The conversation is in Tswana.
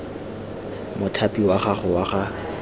mothapi wa gago wa ga